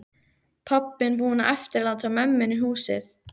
Pabbinn búinn að eftirláta mömmunni húsið.